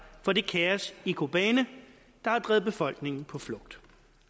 for det kaos i kobane der har drevet befolkningen på flugt